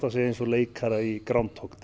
eins og leikara í Groundhog Day